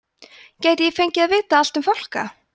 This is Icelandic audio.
gæti ég fengið að vita allt um fálka